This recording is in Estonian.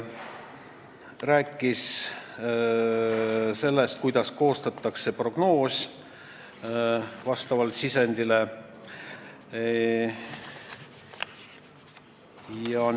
Räägiti sellest, kuidas vastavalt sisendile koostatakse prognoos.